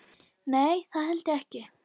Nei, það held ég ekki.